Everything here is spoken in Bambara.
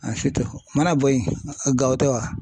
o mana bɔ yen gawo tɛ wa ?